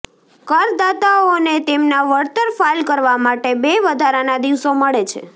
કરદાતાઓને તેમના વળતર ફાઈલ કરવા માટે બે વધારાના દિવસો મળે છે